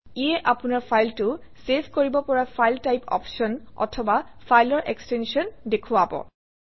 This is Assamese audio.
ইয়ে আপোনৰ ফাইলটো চেভ কৰিব পৰা ফাইল টাইপ অপশ্যন অথবা ফাইলৰ এক্সটেনশ্যন দেখুৱাব